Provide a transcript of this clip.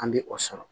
An bɛ o sɔrɔ